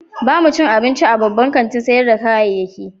Ba mu ci abinci a babban kantin sayar da kayayyaki ba.